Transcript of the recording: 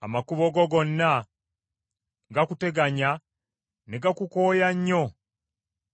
Amakubo go gonna gakuteganya ne gakukooya nnyo